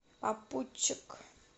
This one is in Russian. попутчик